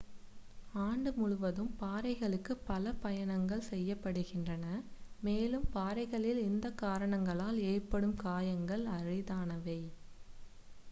ஆண்டு முழுவதும் பாறைகளுக்கு பல பயணங்கள் செய்யப்படுகின்றன மேலும் பாறைகளில் இந்த காரணங்களால் ஏற்படும் காயங்கள் அரிதானவை